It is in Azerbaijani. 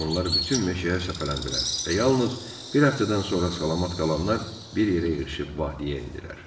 Onlar bütün meşəyə səpələndilər və yalnız bir həftədən sonra salamat qalanlar bir yerə yığıb vadiyə endilər.